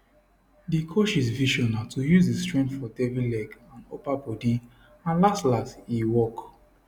di coaches vision na to use di strength for devi leg and upper bodi and laslas e work